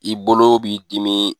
I bolo b'i dimi